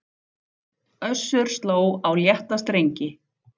Össur sló á létta strengi